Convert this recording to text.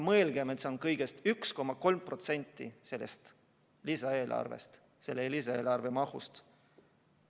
Mõelgem: see on kõigest 1,3% lisaeelarve mahust.